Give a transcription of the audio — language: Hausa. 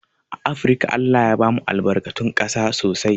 A afrika ALLAH ya bamu albarkatun ƙasa sosai